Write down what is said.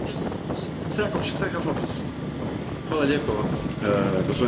Hvala lijepo, gospodine Kelly, što ste prihvatili moju plavu kartu.